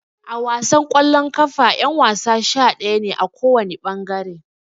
A wasan kwallon kafa yan-wasa sha-daya ne, a kowana bangare.